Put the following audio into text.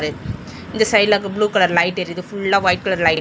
இந்த சைடுலக்கு blue colour light எரிது ஃபுல்லா ஒயிட் கலர் லைட் --